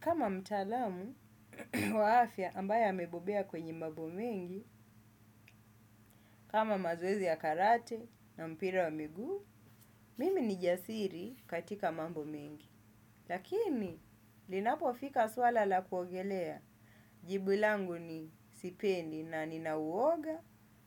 Kama mtaalamu wa afya ambaye amebobea kwenye mambo mengi, kama mazoezi ya karate na mpira wa miguu, mimi ni jasiri katika mambo mengi. Lakini, linapofika swala la kuongelea, jibu langu ni, "sipendi na nina uoga